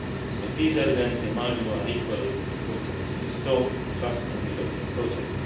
So these elements, in my view, are equally important in restoring trust in the European project.